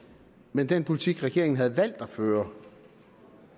men den politik regeringen havde valgt at føre